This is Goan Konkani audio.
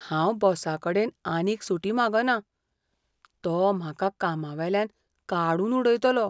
हांव बॉसाकडेन आनीक सुटी मागना. तो म्हाका कामावेल्यान काडून उडयतलो.